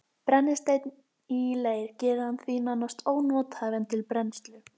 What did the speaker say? Brennisteinn í leir gerir hann því nánast ónothæfan til brennslu.